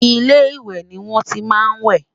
ilé ìwé ní wọn tí má n we